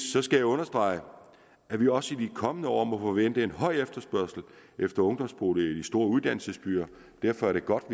understrege at vi også i de kommende år må forvente en høj efterspørgsel efter ungdomsboliger i de store uddannelsesbyer derfor er det godt at